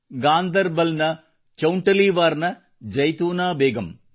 ಗಾಂದರ್ ಬಲ್ ನ ಚೌಂಟಲೀವಾರ್ ನ ಜೈತೂನಾ ಬೇಗಂ